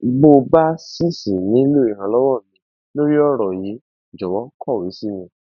bó o bá ṣì ṣì nílò ìrànlọwọ mi lórí ọràn yìí jọwọ kọwé sí mi